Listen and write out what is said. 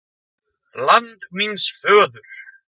LAND MÍNS FÖÐUR